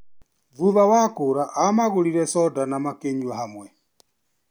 Thutha wa kũra amagũrire soda na makĩnyua hamwe.